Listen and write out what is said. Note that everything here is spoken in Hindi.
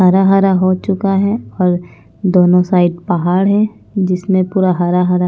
हरा-हरा हो चुका है और दोनों साइड पहाड़ है जिसमें पूरा हरा-हरा --